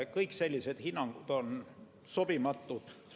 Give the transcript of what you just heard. Kõik sellised hinnangud on sobimatud.